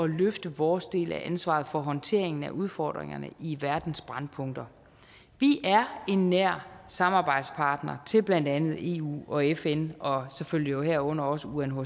løfte vores del af ansvaret for håndteringen af udfordringerne i verdens brændpunkter vi er en nær samarbejdspartner til blandt andet eu og fn og selvfølgelig herunder også unhcr